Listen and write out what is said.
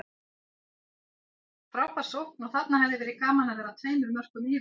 Frábær sókn og þarna hefði verið gaman að vera tveimur mörkum yfir.